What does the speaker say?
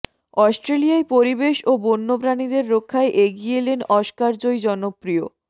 অস্ট্রেলিয়ায় পরিবেশ ও বন্যপ্রাণীদের রক্ষায় এগিয়ে এলেন অস্কারজয়ী জনপ্রিয়